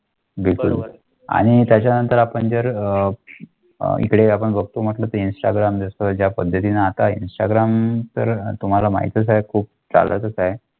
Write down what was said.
आणि त्याच्यानंतर आपण जर अह इकडे अं आपण बघतो मग ते इंस्टाग्राम ज्या पद्धतीने आता इन्स्टाग्राम तर तुम्हाला माहीतच आहे खूप चालत आहे.